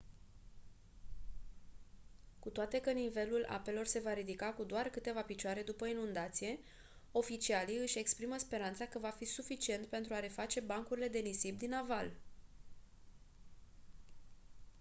cu toate că nivelul apelor se va ridica cu doar câteva picioare după inundație oficialii își exprimă speranța că va fi suficient pentru a reface bancurile de nisip din aval